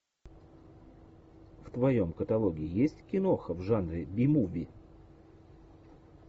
в твоем каталоге есть киноха в жанре би муви